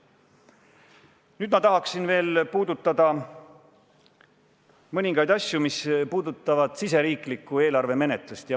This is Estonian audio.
Nüüd ma tahaksin veel puudutada mõningaid asju, mis puudutavad siseriiklikku eelarvemenetlust.